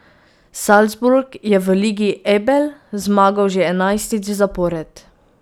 Salzburg je v Ligi Ebel zmagal že enajstič zapored.